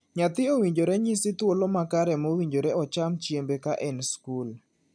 Nyathi owinjore nyisi thuolo makare mowinjore ocham chiembe ka en e skul.